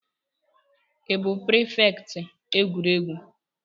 Ị bụ prịfèkt egwuregwu?